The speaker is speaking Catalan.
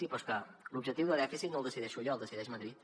sí però és que l’objectiu de dèficit no el decideixo jo el decideix madrid